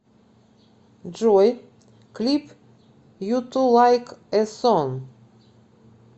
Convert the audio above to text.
джой клип юту лайк э сонг